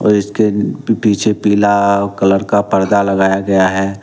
इसके पीछे पीला कलर का परदा लगाया गया है।